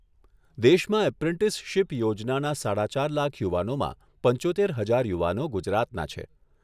દેશમાં એપ્રેન્ટિસશીપ યોજનાના સાડા ચાર લાખ યુવાનોમાં પંચોતેર હજાર યુવાનો ગુજરાતના છે.